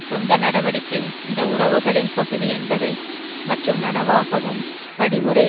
சொந்த நடவடிக்கை இந்த உறவுகளின் பகுதி என்பதை மற்றும் நனவாகவும் படிமுறை